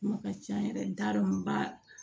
Kuma ka ca yɛrɛ n t'a dɔn n ba